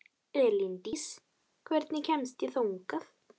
Elíndís, hvernig kemst ég þangað?